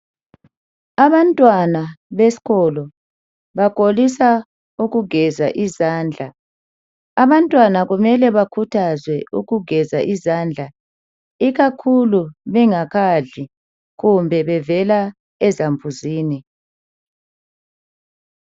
Abantwana besikolo bakholisa ukugeza izandla. Kumele bakhuthazwa ukuzigeza ikakhulu bengakadli, kumbe bevela ezambuzini.